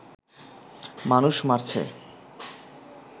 মানুষ মারছে